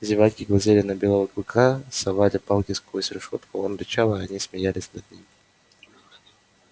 зеваки глазели на белого клыка совали палки сквозь решётку он рычал а они смеялись над ним